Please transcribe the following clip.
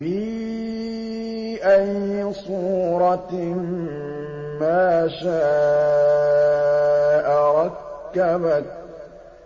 فِي أَيِّ صُورَةٍ مَّا شَاءَ رَكَّبَكَ